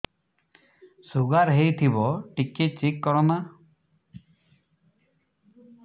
sugar ହେଇଥିବ ଟିକେ check କର ନା